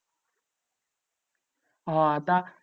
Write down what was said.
হ্যাঁ তা